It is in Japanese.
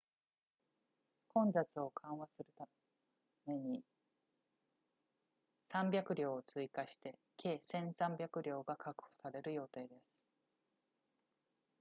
混雑を緩和するために300両を追加して計 1,300 両が確保される予定です